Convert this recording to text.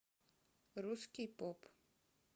русский поп